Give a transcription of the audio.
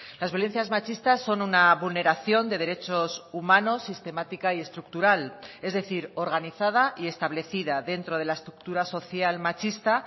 las violencias machistas son una vulneración de derechos humanos sistemática y estructural es decir organizada y establecida dentro de la estructura social machista